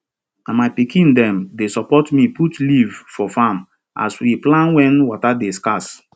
na my pikin dem dey support me put leaf for farm as we plan when water dey scarce